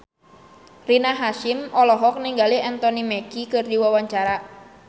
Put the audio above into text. Rina Hasyim olohok ningali Anthony Mackie keur diwawancara